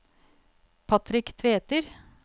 Patrick Tveter